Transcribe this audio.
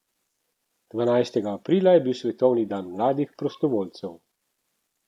Dvanajstega aprila je bil svetovni dan mladih prostovoljcev.